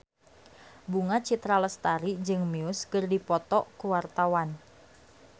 Bunga Citra Lestari jeung Muse keur dipoto ku wartawan